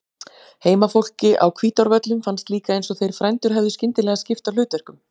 Heimafólki á Hvítárvöllum fannst líka eins og þeir frændur hefðu skyndilega skipt á hlutverkum.